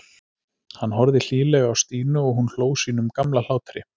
Hann horfði hlýlega á Stínu og hún hló sínum gamla hlátri.